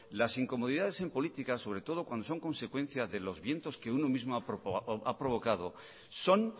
las incomodidades en política sobre todo cuando son consecuencia de los vientos que uno mismo ha provocado son